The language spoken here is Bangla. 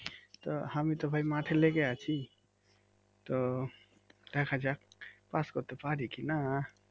তো আমি তো ভাই মাঠে লেগে আছি তো দেখা যাক পাস করতে পারি কিনা